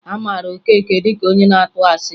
A mara Okeke dị ka onye na-atụ asị